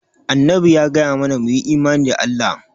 Annabi ya gaya mana mu yi imani da Allah.